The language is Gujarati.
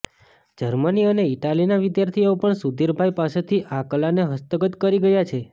જર્મની અને ઇટાલીના વિદ્યાર્થીઓ પણ સુધીરભાઇ પાસેથી આ કલાને હસ્તગત કરી ગયા છે